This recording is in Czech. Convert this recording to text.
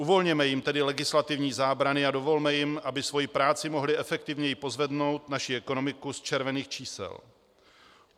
Uvolněme jim tedy legislativní zábrany a dovolme jim, aby svou prací mohli efektivněji pozvednout naši ekonomiku z červených čísel.